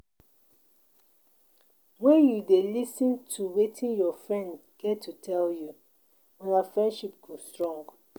wen you dey lis ten to Wetin your friend get to tell you una friendship go strong.